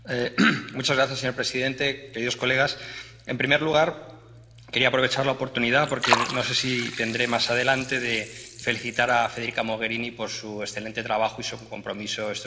Señor presidente, queridos colegas, en primer lugar, quería aprovechar esta oportunidad porque no sé si la tendré más adelante —para felicitar a Federica Mogherini por su excelente trabajo y su compromiso estos cinco años.